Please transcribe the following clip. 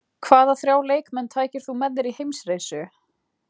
Hvaða þrjá leikmenn tækir þú með þér í heimsreisu?